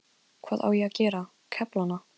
Hvað á ég að gera, kefla hana?